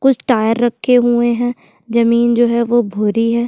कुछ टायर रखे हुए है जमीन जो है वो भूरी है।